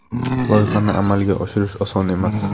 Loyihani amalga oshirish oson emas.